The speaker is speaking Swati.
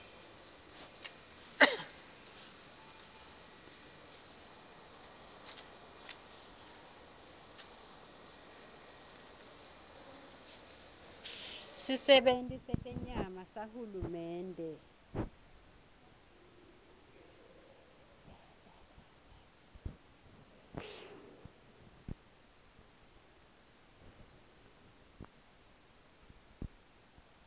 sisebenti setenyama sahulumende